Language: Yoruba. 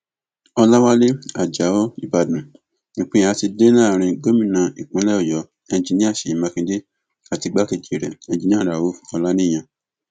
ọlàwálẹ ajáò ìbàdàn ìpínyà ti dé láàrin gómìnà ìpínlẹ ọyọ enjiníà ṣèyí mákindè àti igbákejì rẹ enjinníà rauf ọlàníyàn